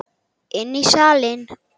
Inn í salinn.